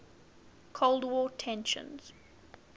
cold war tensions